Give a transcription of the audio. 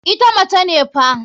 Ita mace ne fa.